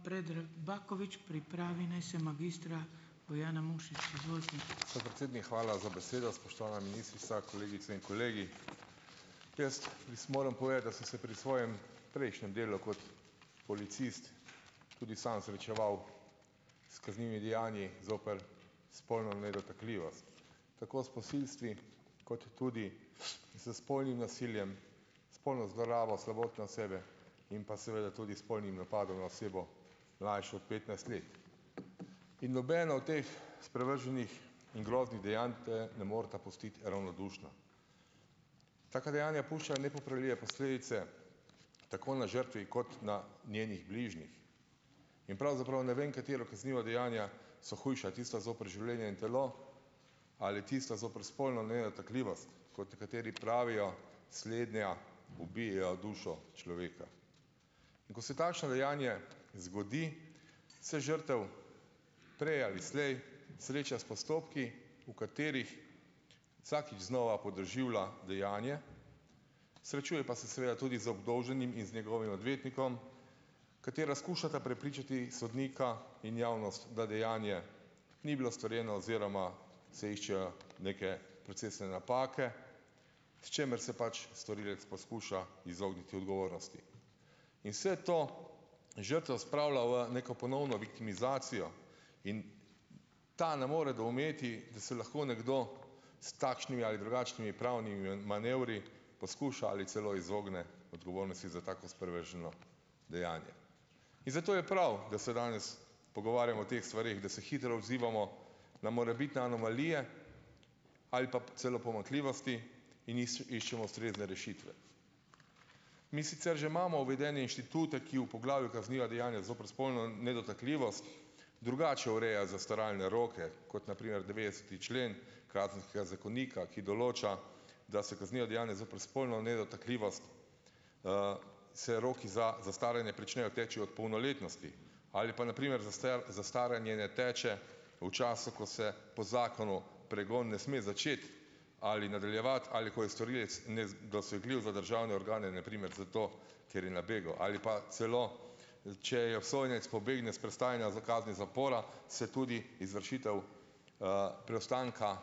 ... pa ima Predrag Bakovič. Pripravi naj se magistra Bojana Mušič. Izvolite. Predsednik, hvala za besedo. Spoštovana ministrica, kolegice in kolegi. Jaz, moram povedati, da sem se pri svojem prejšnjem delu kot policist tudi sam zaničeval s kaznivimi dejanji zoper spolno nedotakljivost. Tako s posilstvi kot tudi s spolnim nasiljem, spolno zlorabo slabotne osebe in pa seveda tudi s spolnim napadom na osebo mlajšo ot petnajst let. In nobeno od teh sprevrženih in groznih dejanj te ne moreta pustiti ravnodušno. Taka dejanja puščajo nepopravljive posledice tako na žrtvi kot na njenih bližnjih. In pravzaprav ne vem, katera kazniva dejanja so hujša. Tista zoper življenje in telo ali tista zoper spolno nedotakljivost, kot kateri pravijo slednja dušo človeka. Ko se takšno dejanje zgodi, se žrtev prej ali slej sreča s postopki, v katerih vsakič znova podoživlja dejanje, srečuje pa se seveda tudi z obdolženim in z njegovim odvetnikom, katera skušata prepričati sodnika in javnost, da dejanje ni bilo storjeno oziroma se iščejo neke procesne napake, s čimer se pač storilec poskuša izogniti odgovornosti. In vse to žrtev spravlja v neko ponovno viktimizacijo. In ta ne more doumeti, da se lahko nekdo s takšnimi ali drugačnimi pravnimi manevri poskuša ali celo izogne odgovornosti za tako sprevrženo dejanje. In zato je prav, da se danes pogovarjamo o teh stvareh, da se hitro odzivamo na morebitne anomalije ali pa celo pomanjkljivosti in iščemo ustrezne rešitve. Mi sicer že imamo uvedene inštitute, ki v poglavju kazniva dejanja zoper spolno nedotakljivost drugače ureja zastaralne roke, kot na primer devetdeseti člen kazenskega zakonika, ki določa, da se kazniva dejanja zoper spolno nedotakljivost, se roki za zastaranje pričnejo teči od polnoletnosti. Ali pa na primer zastaranje ne teče v času, ko se, po zakonu, pregon ne sme začeti ali nadaljevati ali ko je storilec nedosegljiv za državne organe, na primer zato, ker je na begu. Ali pa celo, če je obsojenec pobegne s prestajanja kazni zapora, se tudi izvršitev, preostanka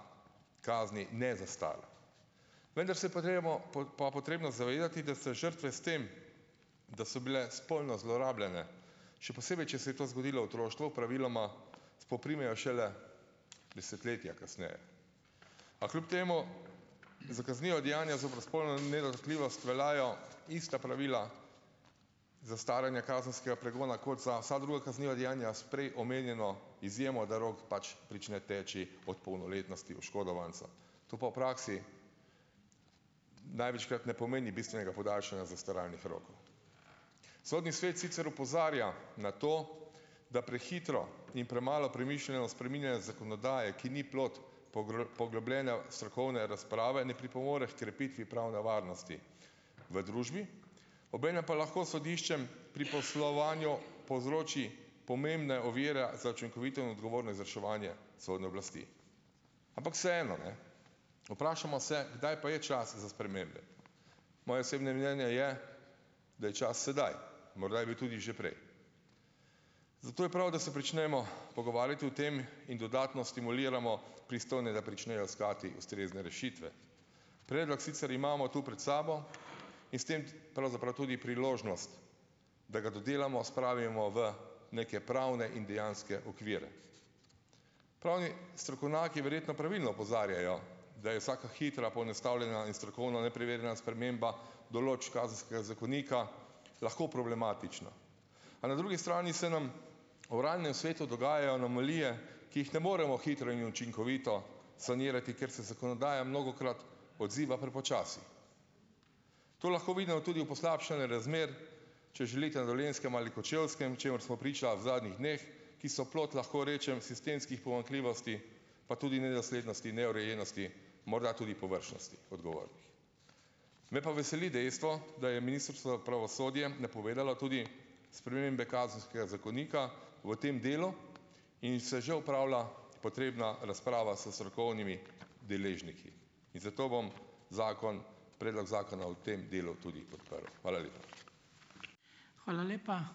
kazni ne zastara. Vendar se , pa potrebno zavedati, da se žrtve s tem, da so bile spolno zlorabljene, še posebej, če se je to zgodilo v otroštvu, praviloma spoprimejo šele desetletja kasneje. A kljub temu za kazniva dejanja zoper spolno nedotakljivost veljajo ista pravila zastaranja kazenskega pregona kot za vsa druga kazniva dejanja s prej omenjeno izjemo, da rok pač prične teči od polnoletnosti oškodovanca. To pa v praksi največkrat ne pomeni bistvenega podaljšanja zastaralnih rokov. Sodni svet sicer opozarja na to, da prehitro in premalo premišljeno spreminjanje zakonodaje, ki ni plod poglobljene strokovne razprave, ne pripomore h krepitvi pravne varnosti v družbi, obenem pa lahko sodiščem pri poslovanju povzroči pomembno oviro za učinkovito in odgovorno izvrševanje sodne oblasti. Ampak vseeno, ne. Vprašamo se, kdaj pa je čas za spremembe? Moje osebne mnenje je, da je čas sedaj. Morda je bil tudi že prej. Zato je prav, da se pričnemo pogovarjati o tem in dodatno stimuliramo pristojne, da pričnejo iskati ustrezne rešitve. Predlok sicer imamo tu pred sabo in s tem pravzaprav tudi priložnost, da ga dodelamo, spravimo v neke pravne in dejanske okvire. Pravni strokovnjaki verjetno pravilno opozarjajo, da je vsaka hitra, poenostavljena in strokovno neprimerna sprememba določb kazenskega zakonika lahko problematična. A na drugi strani se nam v realnem svetu dogajajo anomalije, ki jih ne moremo hitro in učinkovito sanirati, ker se zakonodaja mnogokrat odziva prepočasi. To lahko vidimo tudi v poslabšanju razmer, če želite na Dolenjskem ali Kočevskem, čemur smo priča v zadnjih dneh, ki so plod, lahko rečem, sistemskih pomanjklivosti, pa tudi nedoslednosti, neurejenosti, morda tudi površnosti odgovora. Me pa veseli dejstvo, da je Ministrstvo za pravosodje prepovedalo tudi spremembe kazenskega zakonika v tem delu, in se že opravlja potrebna razprava s strokovnimi deležniki. In zato bom zakon, predlog zakona v tem delu tudi podprl. Hvala lepa. Hvala lepa.